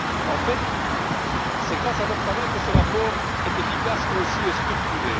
En fait, c'est grâce à leur travail que ce rapport est efficace, concis et structuré.